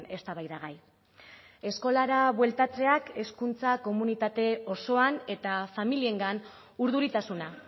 eztabaidagai eskolara bueltatzeak hezkuntza komunitate osoan eta familiengan urduritasuna